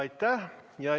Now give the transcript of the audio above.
Aitäh!